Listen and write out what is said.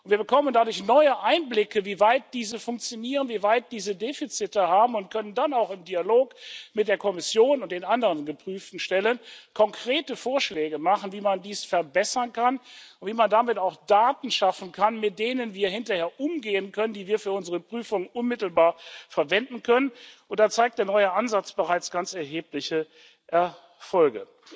Und wir bekommen dadurch neue Einblicke, wie weit diese funktionieren, wie weit diese Defizite haben, und können dann auch im Dialog mit der Kommission und den anderen geprüften Stellen konkrete Vorschläge machen, wie man dies verbessern kann und wie man damit auch Daten schaffen kann, mit denen wir hinterher umgehen können, die wir für unsere Prüfung unmittelbar verwenden können. Da zeigt der neue Ansatz bereits ganz erhebliche Erfolge.